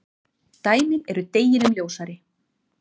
Dæmin eru deginum ljósari.